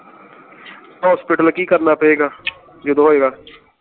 hospital ਕੀ ਕਰਨਾ ਪਏਗਾ ਜਿਦੋ ਹੋਏਗਾ